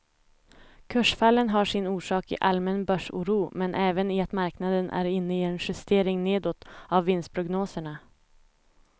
Kursfallen har sin orsak i allmän börsoro men även i att marknaden är inne i en justering nedåt av vinstprognoserna.